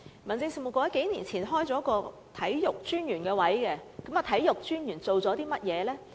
民政事務局數年前曾開設一個體育專員的職位，體育專員做過些甚麼呢？